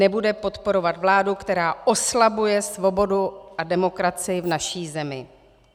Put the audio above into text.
Nebude podporovat vládu, která oslabuje svobodu a demokracii v naší zemi.